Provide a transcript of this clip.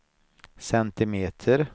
centimeter